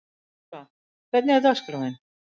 Þeódóra, hvernig er dagskráin?